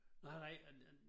Nej nej